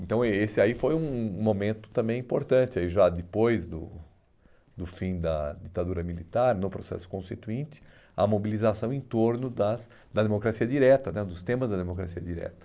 Então eh esse aí foi um um momento também importante, aí já depois do do fim da ditadura militar, no processo constituinte, a mobilização em torno das da democracia direta né, dos temas da democracia direta.